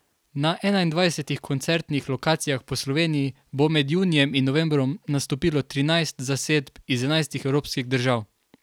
Na enaindvajsetih koncertnih lokacijah po Sloveniji bo med junijem in novembrom nastopilo trinajst zasedb iz enajstih evropskih držav.